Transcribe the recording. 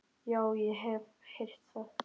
Já, ég hef heyrt það.